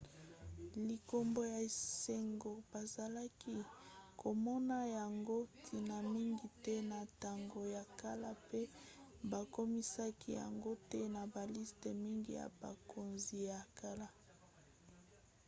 likambo ya esengo bazalaki komona yango ntina mingi te na ntango ya kala pe bakomisaki yango te na baliste mingi ya bakonzi ya kala